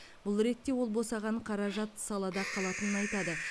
бұл ретте ол босаған қаражат салада қалатынын айтады